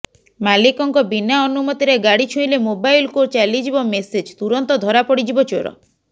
ମାଲିକଙ୍କ ବିନା ଅନୁମତିରେ ଗାଡ଼ି ଛୁଇଁଲେ ମୋବାଇଲକୁ ଚାଲିଯିବ ମେସେଜ୍ ତୁରନ୍ତ ଧରାପଡ଼ିଯିବ ଚୋର